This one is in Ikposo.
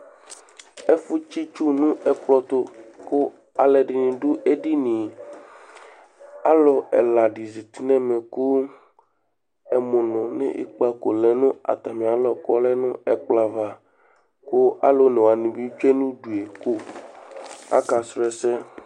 Ɛfʋtsɩ itsu nʋ ɛkplɔ tʋ kʋ alʋɛdɩnɩ dʋ edini yɛ Alʋ ɛla dɩ zati nʋ ɛmɛ kʋ ɛmʋnʋ nʋ ikpǝko lɛ nʋ atamɩalɔ kʋ ɔlɛ nʋ ɛkplɔ ava kʋ alʋ one wanɩ bɩ tsue nʋ udu yɛ kʋ akasʋ ɛsɛ